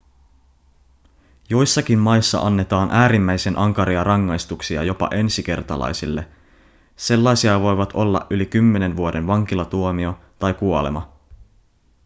joissakin maissa annetaan äärimmäisen ankaria rangaistuksia jopa ensikertalaisille sellaisia voivat olla yli 10 vuoden vankilatuomio tai kuolema